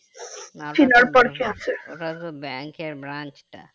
না ওটা তো bank এর branch টা